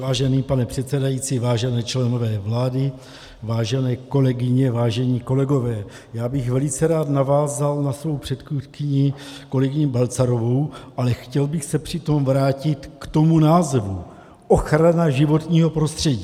Vážený pane předsedající, vážení členové vlády, vážené kolegyně, vážení kolegové, já bych velice rád navázal na svou předchůdkyni, kolegyni Balcarovou, ale chtěl bych se přitom vrátit k tomu názvu ochrana životního prostředí.